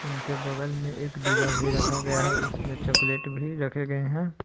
उनके बगल में एक डिब्बा भी रखा गया है उसमें चॉकलेट भी रखें गए हैं।